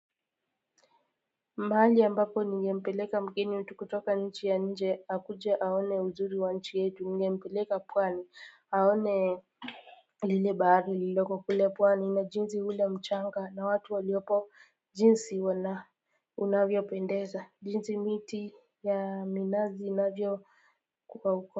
Mahali ya ambapo nigempeleka mgeni wetu kutoka nchi ya nje akuje aone uzuri wa nchi yetu ningempeleka pwani aone lile bahari lililoko kule pwani na jinsi ule mchanga na watu waliopo jinsi wana unavyo pendeza jinsi miti ya minazi inavyo kuwa uko.